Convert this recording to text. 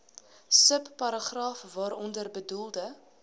subparagraaf waaronder bedoelde